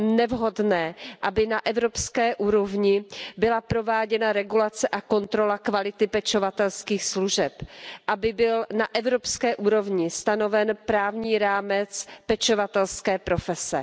nevhodné, aby na evropské úrovni byla prováděna regulace a kontrola kvality pečovatelských služeb, aby byl na evropské úrovni stanoven právní rámec pečovatelské profese.